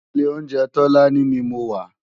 Ilé óunjè Tolani ni mó wà